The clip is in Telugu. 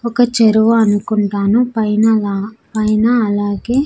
ఒక చెరువు అనుకుంటాను పైనగా పైన అలాగే.